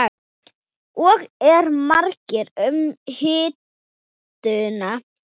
Og eru margir um hituna?